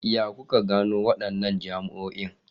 Yaya kuka gano wadannan jami'o'in?